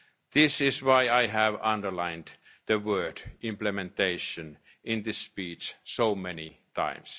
of getting things done. That is why I have underlined the word implementation'